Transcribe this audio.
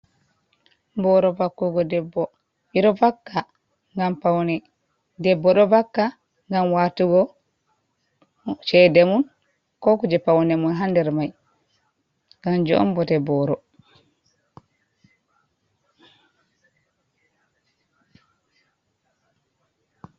Boro vakkugo ɗebbo, ɓe ɗo vakka ngam paune, debbo ɗo vakka ngam watugo chede mum, ko kuje paune mun ha nder mai, kanjum on bote boro.